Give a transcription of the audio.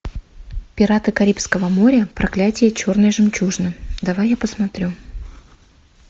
пираты карибского моря проклятие черной жемчужины давай я посмотрю